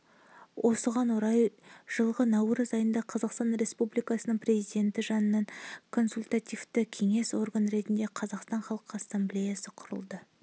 осыған орай жылғы наурыз айында қазақстан республикасының президенті жанынан консультативті кеңестік орган ретінде қазақстан халқы ассамблеясы құрылды